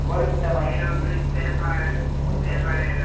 Agora que está mais difícil, porque tem muita gente já.